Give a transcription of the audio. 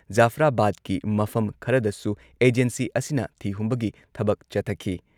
ꯖꯐꯔꯥꯕꯥꯗꯀꯤ ꯃꯐꯝ ꯈꯔꯗꯁꯨ ꯑꯦꯖꯦꯟꯁꯤ ꯑꯁꯤꯅ ꯊꯤꯍꯨꯝꯕꯒꯤ ꯊꯕꯛ ꯆꯠꯊꯈꯤ ꯫